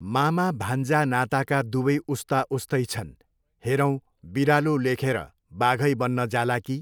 मामा भान्जा नाताका दुवै उस्ता उस्तै छन्, हेरौँ, बिरालो लेखेर बाघै बन्न जाला कि?